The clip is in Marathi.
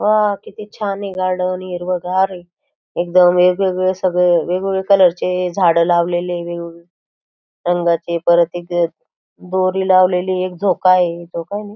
वाह किती छानये गार्डन हिरवागार ए एकदम वेगवेगळे सगळे वेगवेगळे कलर चे झाड लावलेले वेगवेगळे रंगाचे परत एक दोरी लावलेली एक झोकाये झोकाए न--